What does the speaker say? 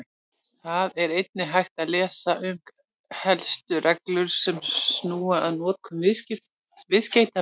Þar er einnig hægt að lesa um helstu reglur sem snúa að notkun viðskeytanna.